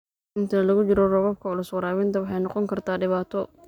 Inta lagu jiro roobabka culus, waraabinta waxay noqon kartaa dhibaato.